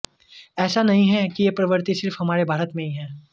ऐसा नहीं है कि यह प्रवृत्ति सिर्फ हमारे भारत में ही है